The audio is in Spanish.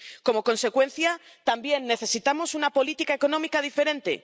Como consecuencia, también necesitamos una política económica diferente.